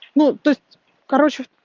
ну то есть короче